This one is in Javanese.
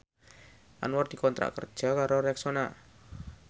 Anwar dikontrak kerja karo Rexona